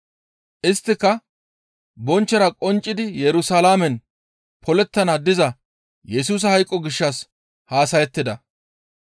Isttika bonchchora qonccidi Yerusalaamen polettana diza Yesusa hayqo gishshas haasayettida.